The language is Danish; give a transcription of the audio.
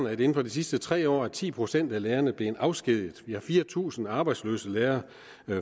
at inden for de sidste tre år er ti procent af lærerne blevet afskediget vi har fire tusind arbejdsløse lærere